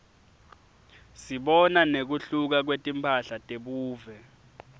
sibona nekuhluka kwetimphahla tebuve